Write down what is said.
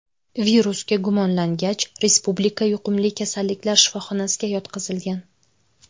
Virusga gumonlangach, Respublika yuqumli kasalliklar shifoxonasiga yotqizilgan.